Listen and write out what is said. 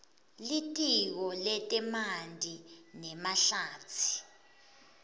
litiko letemanti nemahlatsi